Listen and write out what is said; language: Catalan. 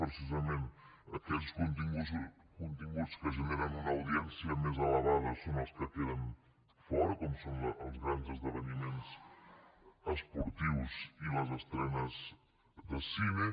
precisament aquells continguts que generen una audiència més elevada són els que queden fora com són els grans esdeveniments esportius i les estrenes de cine